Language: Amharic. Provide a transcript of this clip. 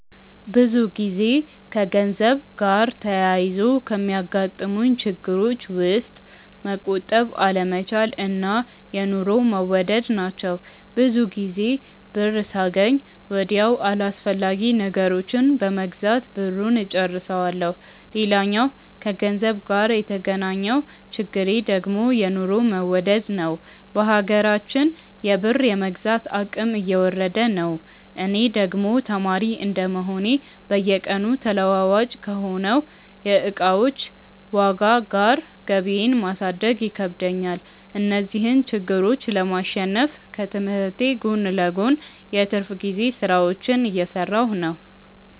ብዙ ጊዜ ከገንዘብ ጋር ተያይዞ ከሚያጋጥሙኝ ችግሮች ውስጥ መቆጠብ አለመቻል እና የኑሮ መወደድ ናቸው። ብዙ ጊዜ ብር ሳገኝ ወዲያው አላስፈላጊ ነገሮችን በመግዛት ብሩን እጨርሰዋለሁ። ሌላኛው ከገንዘብ ጋር የተገናኘው ችግሬ ደግሞ የኑሮ መወደድ ነዉ። በሀገራችን የብር የመግዛት አቅም እየወረደ ነው። እኔ ደግሞ ተማሪ እንደመሆኔ በየቀኑ ተለዋዋጭ ከሆነው የእቃዎች ዋጋ ጋር ገቢየን ማሳደግ ይከብደኛል። እነዚህን ችግሮች ለማሸነፍ ከትምህርቴ ጎን ለጎን የትርፍ ጊዜ ስራዎችን እየሰራሁ ነው።